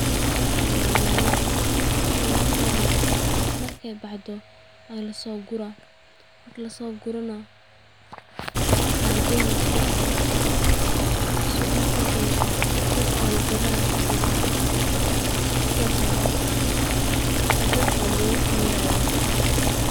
Waxaan waa nyanya, markeey baxdo waa lasoo guraa, waxaa lageyna suuqa, dadka ayaa gadanaa, sidaas ayaad dadka ambooga kuhelayin.